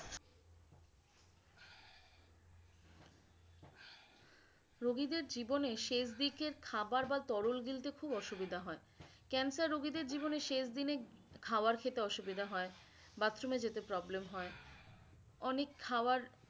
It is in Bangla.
রোগীদের জীবনে শেষ দিকে খাবার বা তরল গিলতে খুব অসুবিধা হয়ে cancer রোগীদের জীবনে শেষ দিনে খাওয়ার খেতে অসুবিধা হয়ে bathroom এ যেতে problem হয়ে অনেক খাওয়ার